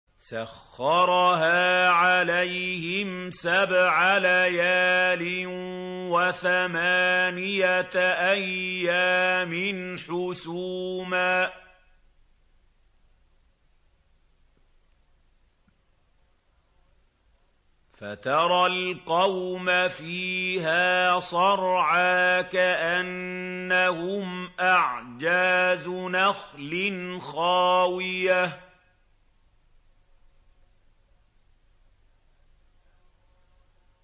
سَخَّرَهَا عَلَيْهِمْ سَبْعَ لَيَالٍ وَثَمَانِيَةَ أَيَّامٍ حُسُومًا فَتَرَى الْقَوْمَ فِيهَا صَرْعَىٰ كَأَنَّهُمْ أَعْجَازُ نَخْلٍ خَاوِيَةٍ